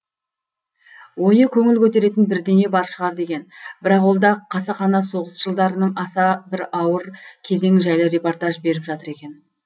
ойы көңіл көтеретін бірдеңе бар шығар деген бірақ ол да қасақана соғыс жылдарының аса бір ауыр кезеңі жайлы репортаж беріп жатыр екен